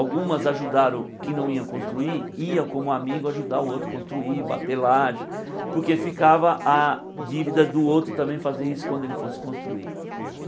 Algumas ajudaram que não iam construir, iam como amigo ajudar o outro a construir, bater lage, porque ficava a dívida do outro também fazer isso também quando ele fosse construir.